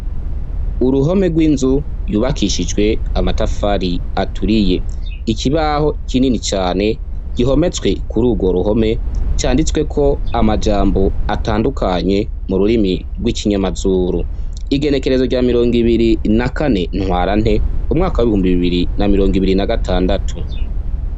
Uruhome rw'inzu yubakishijwe amatafari aturiye, ikibaho kinini cane gihometswe kur' urwo ruhome canditsweko amajambo atandukanye mu rurimi rw'ikinyamazuru ,igenekerezo rya mirong' ibiri na kane ntwarante umwaka w'ibihumbi bibiri na mirong' ibiri na gatandatu.